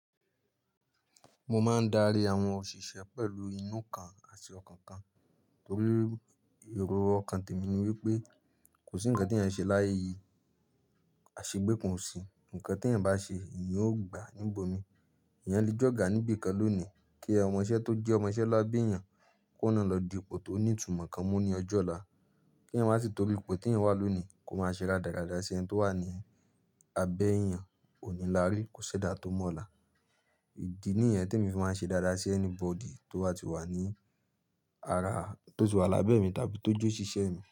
Mo máa ń darí àwọn òṣìṣẹ́ pẹ̀lú inú kan àti ọkàn kan torí èrò ọkàn tèmi ni wípé kò sí ǹkan tí ẹ ṣe láyé yìí, aṣegbẹ́ kan o sí, ǹkan tí ẹ̀ ń bá ṣe ìyẹn ó gbàá níbo mi. Ìyẹn le j'ọ̀gá níbi kan lónìí kí ọmọṣẹ́ tó jẹ́ ọmọṣẹ́ labe èèyàn kóhun ná lọ di ipò tó ní ìtumọ̀ kan mú ní ọjọ́ ọ̀la. Kí ẹ̀yan wá ti torí ipò tí ẹ̀yan wá lónìí kó máa ṣe dáradára sí ẹni tó wà ní abẹ́ èèyàn, òní lárí kò ṣẹ̀dá tó mọ́ ọ̀la. Idi nìyẹn tí emi fi máa ṣe dáradára sí anybody tó bá ti wà ní ara, tó ti wà lábẹ́ mi tàbí tó je óṣíṣẹ́ mi.